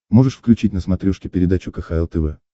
можешь включить на смотрешке передачу кхл тв